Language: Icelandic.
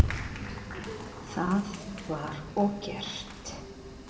Það var og gert.